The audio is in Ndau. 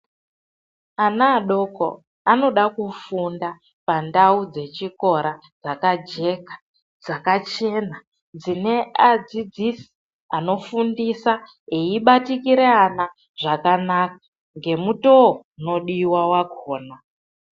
Ana adoko anoda kufunda pandau dzechikora dzakajeka, dzakachena, dzine adzidzisi anofundisa eibatikira ana zvakanaka ngemutoo unodiwa wakhona.